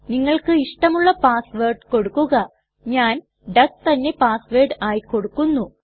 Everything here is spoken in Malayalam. നിങ്ങൾക്ക് ഇഷ്ടമുള്ള പാസ് വേർഡ് കൊടുക്കുക ഞാൻ ഡക്ക് തന്നെ പാസ് വേർഡ് ആയി കൊടുക്കുന്നു